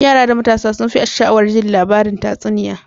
Yara da matasa sunfi sha'awar ji labari tatsuniya.